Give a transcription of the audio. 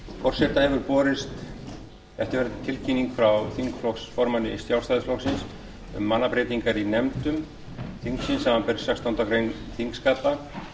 forseta hefur borist eftirfarandi tilkynning frá þingflokksformanni sjálfstæðisflokksins um mannabreytingar í nefndum þingsins samanber sextándu grein þingskapa